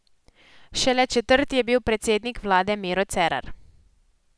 Šele četrti je bil predsednik vlade Miro Cerar.